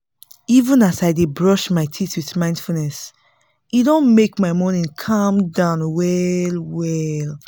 even as i dey brush my teeth with mindfulness e don make my morning calm down well-well